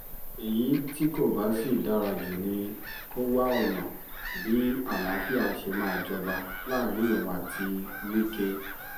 èyí tí kò bá sì dára jù ni kó wá ọ̀nà bí àlàáfíà ṣe máa jọba láàrin òun àti wike